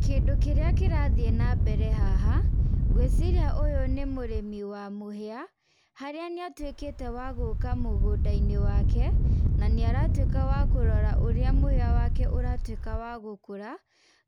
Kĩndũ kĩrĩa kĩrathiĩ na mbere haha, ngwĩciria ũyũ nĩ mũrĩmi wa mũhĩa, harĩa nĩ atuĩkĩte wa gũka mũgũnda-inĩ wake na nĩaratuĩka wa kũrora mũhĩa wake ũratuĩka wa gũkũra